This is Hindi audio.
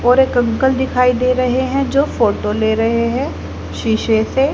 और एक अंकल दिखाई दे रहे हैं जो फोटो ले रहे हैं शीशे से--